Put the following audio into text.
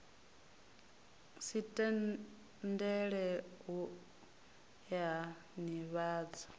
si tendele u ea nivhadzo